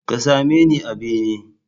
Ka same ni a bene!